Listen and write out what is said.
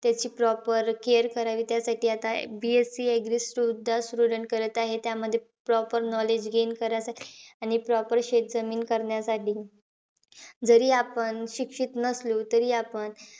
त्याची proper care करावी. त्यासाठी आता BSC agree सुद्धा करत आहे. त्यामध्ये proper knowledge gain करत आहे. आणि proper शेतजमीन करण्यासाठी. जरी आपण शिक्षित नसलो तरी आपण,